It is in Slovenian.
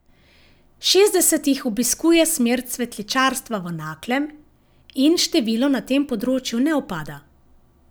Šestdeset jih obiskuje smer cvetličarstva v Naklem in število na tem področju ne upada.